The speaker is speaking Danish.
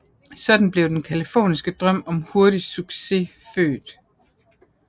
Sådan blev den californiske drøm om hurtig succes født